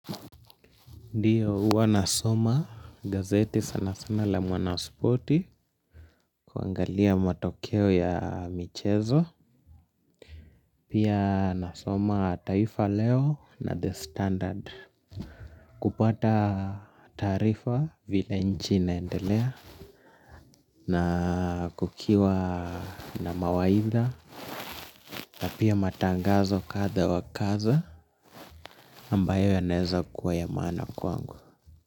Ndiyo uwa nasoma gazeti sana sana la mwanaspoti kuangalia matokeo ya michezo pia nasoma taifa leo na the standard kupata taarifa vile nchi inaendelea na kukiwa na mawaidha na pia matangazo kadha wakaza ambayo yanaeza kuwa ya maana kwangu.